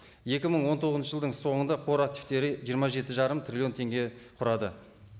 екі мың он тоғызыншы жылдың соңында қор активтері жиырма жеті жарым триллион теңге құрады